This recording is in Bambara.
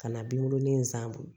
Ka na binkurunin in san